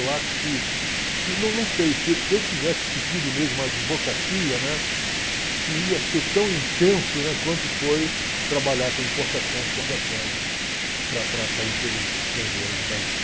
Eu acho que, não não não sei, se se eu tivesse seguido mesmo a advocacia, né, se se ia ser tão intenso, né, quanto foi trabalhar com importação e exportação para para empresas estrangeiras no Brasil.